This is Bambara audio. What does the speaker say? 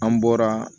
An bɔra